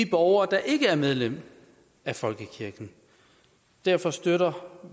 borgere der ikke er medlem af folkekirken derfor støtter